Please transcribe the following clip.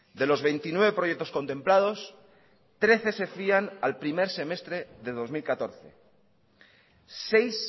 de los veintinueve proyectos contemplados trece se fían al primer semestre de dos mil catorce seis